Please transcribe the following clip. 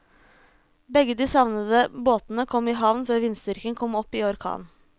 Begge de savnede båtene kom i havn før vindstyrken kom opp i orkan.